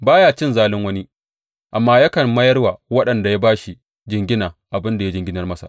Ba ya cin zalin wani, amma yakan mayar wa wanda ya ba shi jingina abin da ya jinginar masa.